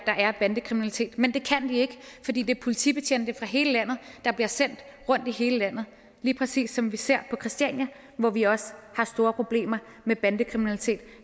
er bandekriminalitet men det kan de ikke fordi det er politibetjente fra hele landet der bliver sendt rundt i hele landet lige præcis som vi ser på christiania hvor vi også har store problemer med bandekriminalitet